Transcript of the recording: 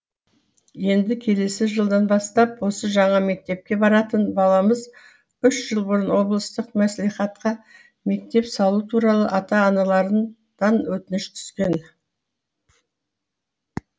енді келесі жылдан бастап осы жаңа мектепке баратын баламыз үш жыл бұрын облыстық мәслихатқа мектеп салу туралы ата аналарыдан өтініш түскен